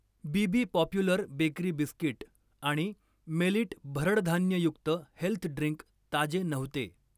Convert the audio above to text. Bibi popular bakery biscuit आणि millet भरडधान्ययुक्त health drink ताजे नव्हते.